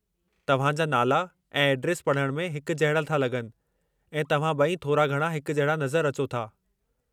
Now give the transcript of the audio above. तव्हां जा नाला ऐं एड्रेस पढ़ण में हिक जहिड़ा था लग॒नि, ऐं तव्हां ॿई थोरा-घणां हिक जहिड़ा नज़र अचो था।